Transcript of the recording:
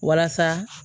Walasa